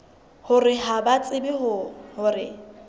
hore ha ba tsebe hore